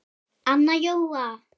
Anna Jóa